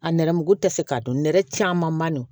A nɛrɛmugu tɛ se k'a dun nɛrɛ caman man nɔgɔn